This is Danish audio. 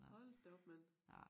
Hold da op mand